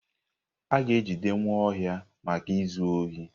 A ga-ejide Nwaohia maka izu ohi.